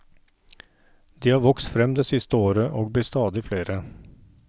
De har vokst frem det siste året, og blir stadig flere.